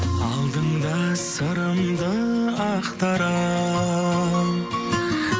алдыңда сырымды ақтара